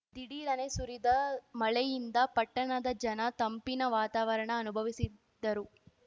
ಧಿಡೀರನೆ ಸುರಿದ ಮಳೆಯಿಂದ ಪಟ್ಟಣದ ಜನ ತಂಪಿನ ವಾತಾವರಣ ಅನುಭವಿಸಿದ್ದರು